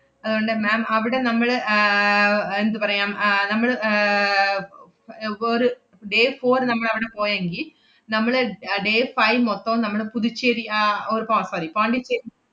അതുകൊണ്ട് ma'am അവിടെ നമ്മള് ആഹ് അഹ് എന്തുപറയാം, അഹ് നമ്മള് ആഹ് സ~ അം~ ഒരു day four നമ്മളവടെ പോയെങ്കി നമ്മള് അഹ് day five മൊത്തോം നമ്മള് പുതുച്ചേരി ആഹ് or പോ~ sorry പോണ്ടിച്ചേ~